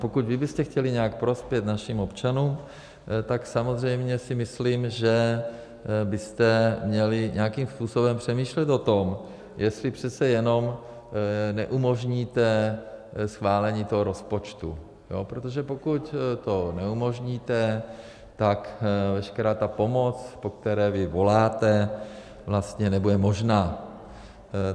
Pokud vy byste chtěli nějak prospět našim občanům, tak samozřejmě si myslím, že byste měli nějakým způsobem přemýšlet o tom, jestli přece jenom neumožníte schválení toho rozpočtu, protože pokud to neumožníte, tak veškerá ta pomoc, po které vy voláte, vlastně nebude možná.